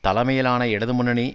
தலைமையிலான இடது முன்னணி